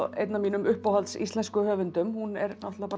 einn af mínum uppáhalds íslensku höfundum hún er